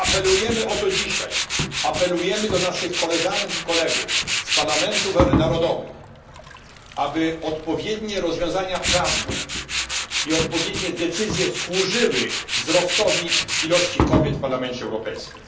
Apelujemy o to dzisiaj, apelujemy do naszych koleżanek i kolegów z parlamentów narodowych, aby odpowiednie rozwiązania prawne i odpowiednie decyzje służyły wzrostowi liczby kobiet w Parlamencie Europejskim.